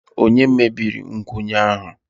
Ònye mebiri nkwụnye ahụ?